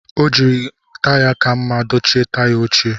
O jiri taya ka mma dochie taya ochie